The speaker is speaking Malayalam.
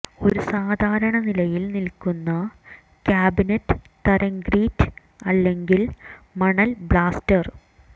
ഒരു സാധാരണ നിലയിൽ നിൽക്കുന്ന കാബിനറ്റ് തരം ഗ്രിറ്റ് അല്ലെങ്കിൽ മണൽ ബ്ലാസ്റ്റർ